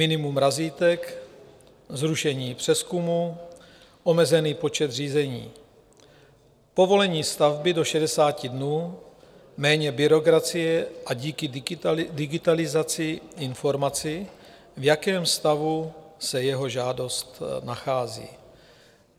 Minimum razítek, zrušení přezkumu, omezený počet řízení, povolení stavby do 60 dnů, méně byrokracie a díky digitalizaci informaci, v jakém stavu se jeho žádost nachází.